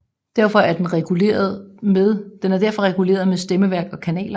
Den er derfor reguleret med stemmeværk og kanaler